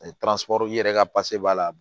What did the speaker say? i yɛrɛ ka b'a la